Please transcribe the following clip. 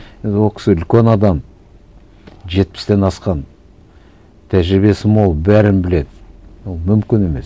енді ол кісі үлкен адам жетпістен асқан тәжірибесі мол бәрін біледі ол мүмкін емес